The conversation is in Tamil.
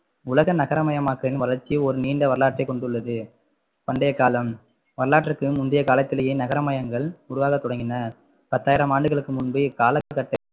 உலக நகர மயமாக்களின் வளர்ச்சி ஒரு நீண்ட வரலாற்றை கொண்டுள்ளது பண்டைய காலம் வரலாற்றுக்கு முந்தைய காலத்திலேயே நகர்மயங்கள் உருவாக தொடங்கின பத்தாயிரம் ஆண்டுகளுக்கு முன்பே இக்காலக்கட்ட